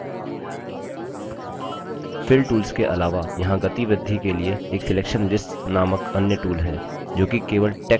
fill tools के अलावा यहाँ गति वृद्धि के लिए एक selection lists नामक अन्य tools है जो कि केवल text के उपयोग के लिए सीमित है